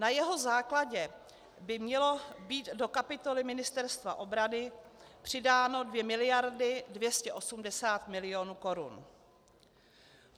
Na jeho základě by měly být do kapitoly Ministerstva obrany přidány 2 miliardy 280 milionů korun.